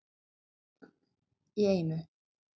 Einn í einu.